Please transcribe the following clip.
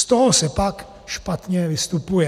Z toho se pak špatně vystupuje."